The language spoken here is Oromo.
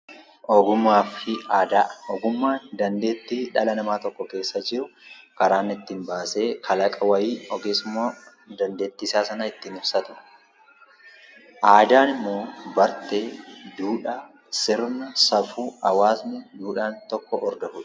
Ogummaan dandeettii dhala namaa tokko keessaa jiru karaa ittiin baasee kalaqa wayii yookiin immoo dandeettii isaa san ittiin ibsatudha. Aadaan immoo bartee, duudhaa, sirna, safuu hawaasni tokko hordofudha.